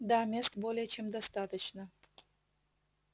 да мест более чем достаточно